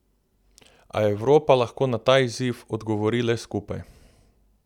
A Evropa lahko na ta izziv odgovori le skupaj.